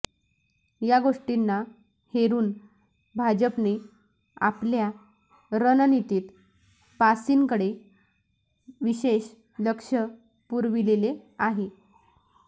या गोष्टींना हेरून भाजपने आपल्या रणनितीत पासींकडे विशेष लक्ष पुरविलेले आहे